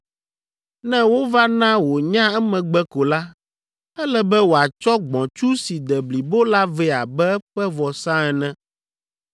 ne wova na wònya emegbe ko la, ele be wòatsɔ gbɔ̃tsu si de blibo la vɛ abe eƒe vɔsa ene.